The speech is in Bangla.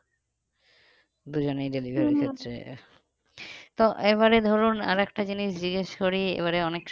দুজনেই এক তো এবারে ধরুন আর একটা জিনিস জিজ্ঞেস করি এবারে অনেক